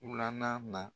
Wula na